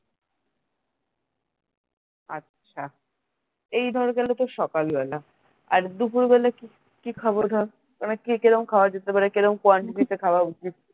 আচ্ছা এই ধর গেলো তোর সকাল বেলা আর দুপুর বেলা কি কি খাবো ধর মানে কেরম খাওয়া যেতে পারে কেরোম quantity তে খাওয়া উচিত